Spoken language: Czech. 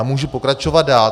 A můžu pokračovat dál.